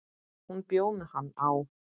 Hún bjó með hann á